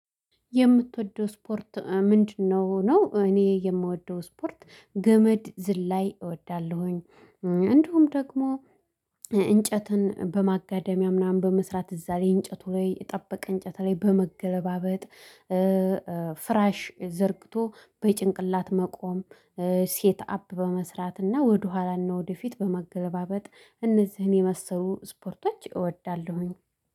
የምትወደው ስፖርት ምንድነው? ነው እኔ የምወደው ስፖርት ገመድ ዝላይ እወዳለሁኝ። እንደውም ደግሞ እንጨትን በማጋደሚያ ምናምን በመስራት እዛ ላይ እንጨቱ ላይ የጠበቀ እንጨት ላይ በመገለባበጥ። ፍራሽ ዘርግቶ በጭንቅላት መቆም። ሴት አፕ በመስራት እና ወደኋላ ነው ወደፊት በመገላበጥ እነዚህን የመሰሉ ስፖርቶች እወዳለሁኝ